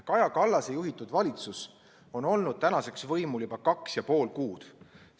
Kaja Kallase juhitud valitsus on olnud tänaseks võimul juba kaks ja pool kuud.